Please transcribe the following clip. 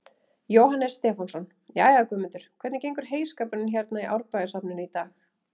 Jóhannes Stefánsson: Jæja, Guðmundur, hvernig gengur heyskapurinn hérna í Árbæjarsafninu í dag?